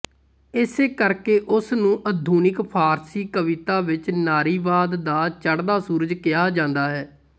ਇਸੇ ਕਰਕੇ ਉਸ ਨੂੰ ਆਧੁਨਿਕ ਫਾਰਸੀ ਕਵਿਤਾ ਵਿੱਚ ਨਾਰੀਵਾਦ ਦਾ ਚੜ੍ਹਦਾ ਸੂਰਜ ਕਿਹਾ ਜਾਂਦਾ ਹੈ